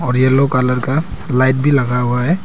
और yellow colour का light भी लगा हुआ है।